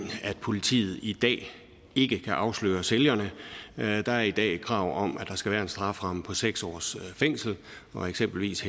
at politiet i dag ikke kan afsløre sælgerne der er i dag et krav om at der skal være en strafferamme på seks års fængsel og eksempelvis